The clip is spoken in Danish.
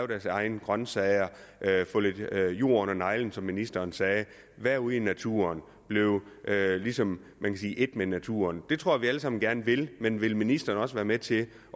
deres egne grønsager få lidt jord under neglene som ministeren sagde være ude i naturen blive ligesom et med naturen det tror jeg vi alle sammen gerne vil men vil ministeren også være med til